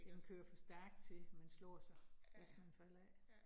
Den kører for stærkt til man slår sig, hvis man falder af